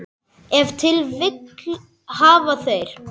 Ef til vill hafa þeir.